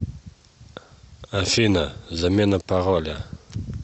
афина замена пароля